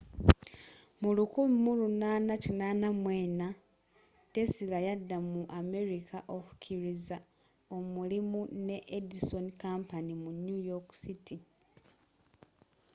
mu 1884 tesla yadda mu amerika okukkiriza omulimu ne edison company mu new york city